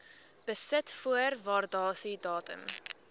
besit voor waardasiedatum